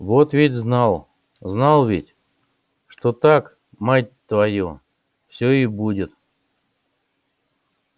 вот ведь знал знал ведь что так мать твою все и будет